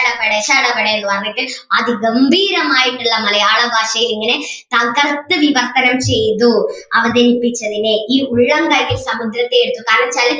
ശട പടേ ശട പടേ എന്ന് പറഞ്ഞിട്ട് അല്ലെങ്കിൽ അതിഗംഭീരമായിട്ടുള്ള മലയാള ഭാഷയിൽ ഇങ്ങനെ തകർത്തു വിവർത്തനം ചെയ്തു അവതരിപ്പിച്ചതിനെ ഈ ഉള്ളംകൈയിൽ സമുദ്രത്തെ എടുത്തതായി